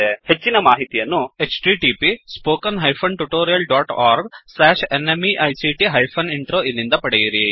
ಹೆಚ್ಚಿನ ಮಾಹಿತಿಯನ್ನು httpspoken tutorialorgNMEICT Intro ಇಲ್ಲಿಂದ ಪಡೆಯಿರಿ